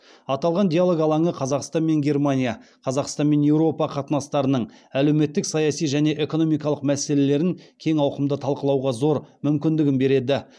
аталған диалог алаңы қазақстан мен германия қазақстан мен еуропа қатынастарының әлеуметтік саяси және экономикалық мәселелерін кең ауқымда талқылауға зор мүмкіндік береді